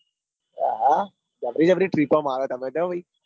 હહ જબરી જબર trip મારો તમે તો ભાઈ.